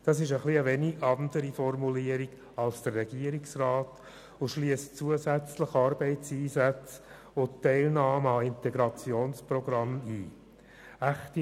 Diese Formulierung unterscheidet sich von derjenigen des Regierungsrats und schliesst zusätzlich Arbeitseinsätze sowie die Teilnahme an Integrationsprogrammen ein.